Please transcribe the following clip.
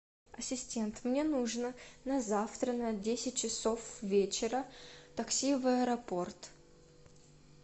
ассистент мне нужно на завтра на десять часов вечера такси в аэропорт